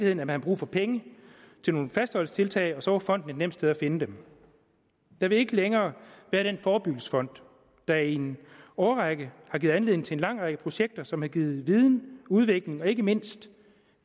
at man har brug for penge til nogle fastholdelsestiltag og så var fonden et nemt sted at finde dem der vil ikke længere være den forebyggelsesfond der i en årrække har givet anledning til en lang række projekter som har givet viden udvikling og ikke mindst